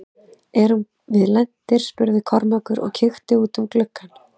Erum við lentir spurði Kormákur og kíkti út um gluggann.